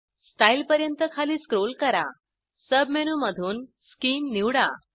style पर्यंत खाली scroll करा सब मेनूमधून शीम निवडा